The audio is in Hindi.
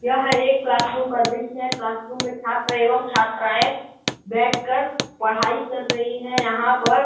यह एक क्लासरूम का दृश्य है। क्लासरूम में छात्र एवं छात्राएं बैठकर पढाई कर रही हैं। यहाँ पर --